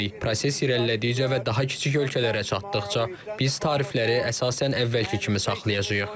Proses irəlilədikcə və daha kiçik ölkələrə çatdıqca, biz tarifləri əsasən əvvəlki kimi saxlayacağıq.